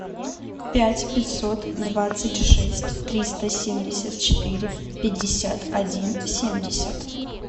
пять пятьсот двадцать шесть триста семьдесят четыре пятьдесят один семьдесят